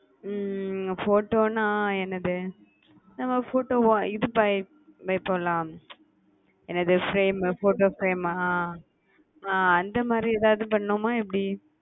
ஹம் photo னா என்னது நம்ம photo இது பண்ண மாரி போடலாம்என்னது frame photo frame ஹம் ஹம அந்த மாரி ஏதாது பண்ணனுமா எப்புடி